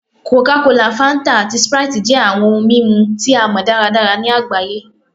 Coca-Cola, Fanta, ati Sprite jẹ awọn ohun mimu asọ ti a mọ daradara ni agbaye